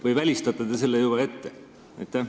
Või välistate te selle juba ette?